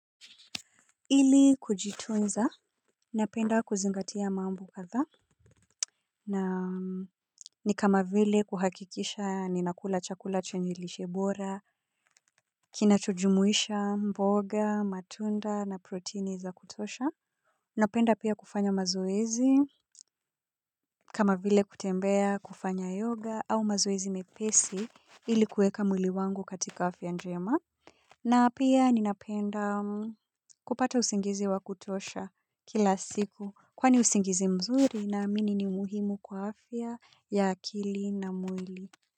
Ili kujitunza, napenda kuzingatia mambo kadhaa. Na ni kama vile kuhakikisha ninakula chakula chenye lishe bora, kinachojumuisha mboga, matunda na proteini za kutosha. Napenda pia kufanya mazoezi. Kama vile kutembea kufanya yoga au mazoezi mepesi ilikuweka mwili wangu katika afya njema. Na pia ninapenda kupata usingizi wa kutosha kila siku kwani usingizi mzuri naamini ni muhimu kwa afya ya akili na mwili.